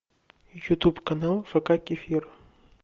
ютуб канал фк кефир